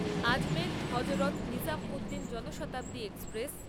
Ajmer Hazrat Nizamuddin Janshatabdi express